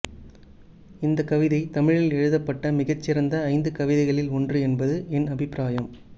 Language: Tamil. இந்த கவிதை தமிழில் எழுதப்பட்ட மிகச்சிறந்த ஐந்து கவிதைகளில் ஒன்று என்பது என் அபிப்பிராயம்